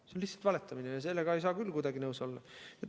See on lihtsalt valetamine ja sellega ei saa küll kuidagi nõus olla.